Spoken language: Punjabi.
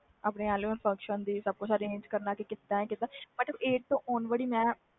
arrange ਮੈਂ ਹੀ ਕਰਨਾ ਕੀਦਾ ਨਾ ਕੀਦਾ ਮਤਬਲ eighth ਤੋਂ on world